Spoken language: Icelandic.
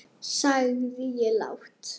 sagði ég lágt.